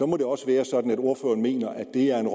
må det også være sådan at ordføreren mener at det er et